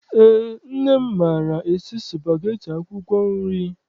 Eé, nne m maara esi spageti akwụkwọ nri.